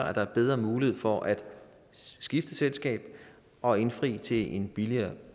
at der er bedre mulighed for at skifte selskab og indfri til en billigere